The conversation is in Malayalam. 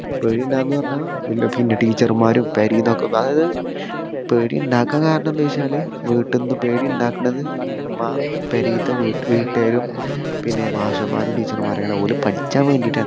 പേടിയുണ്ടാവുമെന്ന് പറഞ്ഞാ പിന്നെ പിന്ന teacher മാരും പൊരെന്ന് ഒക്കെ അതായത് പേടിയുണ്ടാക്കാൻ കാരണം എന്താന്ന് വെച്ചാല് വീട്ടിന്ന് പേടിയുണ്ടാക്കുന്നത് ഇമ്മ പെരയത്തെ വീട്ട് വീട്ടുകാരും പിന്നെ മാഷന്മാരും teacher മാര്ആണ് കാരണം ഓര് പഠിക്കാൻ വേണ്ടിയിട്ടാണ്